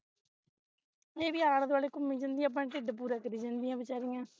ਏਹ ਵੀ ਆਲੇ ਦੁਆਲੇ ਘੁੰਮੀ ਜਾਂਦੀਆਂ ਆਪਣਾ ਢਿਡ ਪੂਰਾ ਕਰੀ ਜਾਂਦੀ ਆ ਵਿਚਾਰਿਆਂ